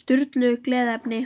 Sturlu gleðiefni.